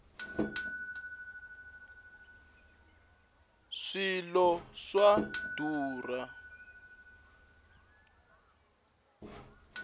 swilo swa durha